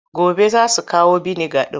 Gobe za su kawo biniga ɗin.